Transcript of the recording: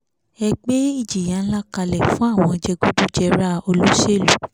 ẹ gbé ìjìyà ńlá kalẹ̀ fún àwọn jẹgúdújẹrá olóṣèlú